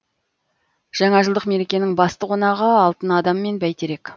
жаңажылдық мерекенің басты қонағы алтын адам мен бәйтерек